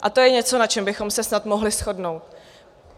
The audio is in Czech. A to je něco, na čem bychom se snad mohli shodnout.